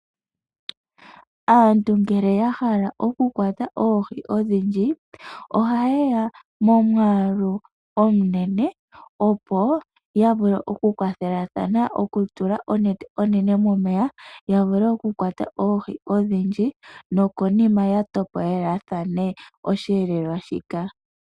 Aantu ngele yahala okukwata oohi odhindji oha ye ya momwaalu omunene opo yavule okukwathelathana opo yatule onete onene momeya yavule okukwata oohi odhindji nokonima opo yatopolelathane osheelelwa shika.